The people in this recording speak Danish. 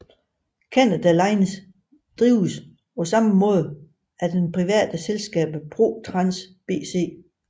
Canada Line drives på samme måde af det private selskab ProTrans BC